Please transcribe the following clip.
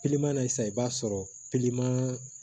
na sisan i b'a sɔrɔ